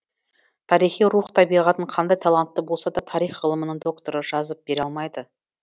тарихи рух табиғатын қандай талантты болса да тарих ғылымының докторы жазып бере алмайды